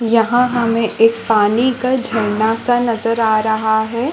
यहाँ हमें एक पानी का झरना -सा नजर आ रहा हैं।